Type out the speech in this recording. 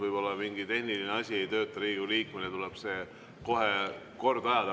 Võib-olla mingi tehniline asi ei tööta Riigikogu liikmel ja tuleb see kohe korda ajada.